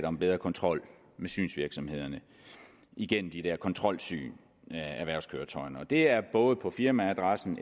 om bedre kontrol med synsvirksomhederne igennem de der kontrolsyn af erhvervskøretøjerne og det er både på firmaadressen